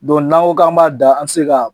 Dɔnku n'an ko k'an b'a da an tɛ se k'a